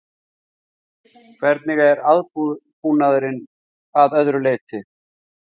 Hvernig er aðbúnaðurinn að öðru leyti?